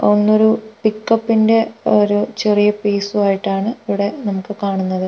ഒന്നൊരു പിക്കപ്പിന്റെ ഒരു ചെറിയ പീസു ആയിട്ടാണ് ഇവിടെ നമുക്ക് കാണുന്നത്.